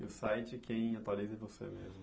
E o site quem atualiza é você mesmo.